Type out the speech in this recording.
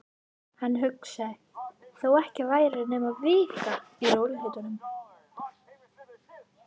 Hann hugsaði: Þó ekki væri nema vika. í rólegheitum.